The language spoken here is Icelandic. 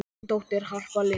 Þín dóttir, Harpa Lind.